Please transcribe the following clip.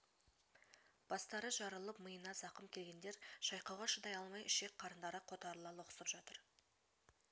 бастары жарылып миына зақым келгендер шайқауға шыдай алмай ішек-қарындары қотарыла лоқсып жатыр